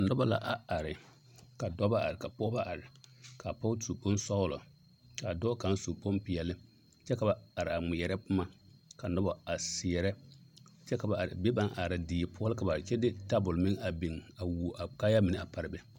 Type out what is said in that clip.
Nobɔ la a are ka dɔbɔ are ka pɔgebɔ are ka pɔge su bonsɔglɔ kaa dɔɔ kaŋ su bompeɛli kyɛ ka ba are ŋmeɛrɛ boma ka nobɔ a seɛrɛ kyɛ ka are be ba naŋ are na die poɔ la ka ba are kyɛ ka ba de tabol meŋ a beŋ a wuo a kaayaa mine a pare be.